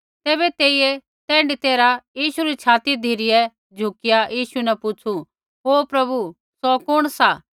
तैबै तेइयै तैण्ढी तैरहा यीशु री छाती धिरै झुकिया यीशु न पुछ़ु ओ प्रभु सौ कुण सा